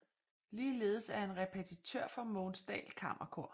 Ligeledes er han repetitør for Mogens Dahl Kammerkor